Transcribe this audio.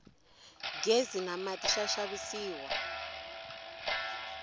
ghezi na mati swa xavisiwa